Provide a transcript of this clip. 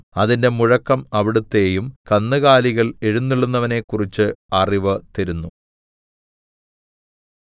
അതിന്റെ മുഴക്കം അവിടുത്തെയും കന്നുകാലികൾ എഴുന്നെള്ളുന്നവനെക്കുറിച്ച് അറിവു തരുന്നു